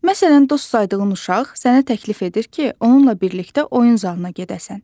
Məsələn, dost saydığın uşaq sənə təklif edir ki, onunla birlikdə oyun zalına gedəsən.